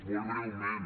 molt breument